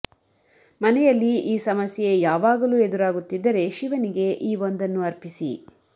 ಮನೆಯಲ್ಲಿ ಈ ಸಮಸ್ಯೆ ಯಾವಾಗಲೂ ಎದುರಾಗುತ್ತಿದ್ದರೆ ಶಿವನಿಗೆ ಈ ಒಂದನ್ನು ಅರ್ಪಿಸಿ